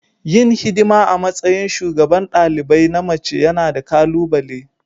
Yin hidima a matsayin shugaban dalibai na mace yana da ƙalubale.